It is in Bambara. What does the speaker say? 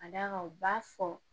Ka d'a kan u b'a fɔ